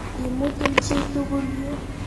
Imutun chi tukul yu.